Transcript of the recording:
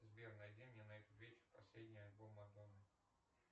сбер найди мне на этот вечер последний альбом мадонны